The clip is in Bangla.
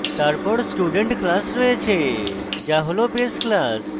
তারপর student class রয়েছে যা হল base class